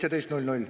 17.00.